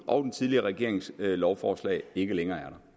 og den tidligere regerings lovforslag ikke længere